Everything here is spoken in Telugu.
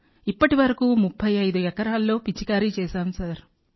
ఇప్పటి వరకు 35 ఎకరాల్లో పిచికారీ చేశాం సార్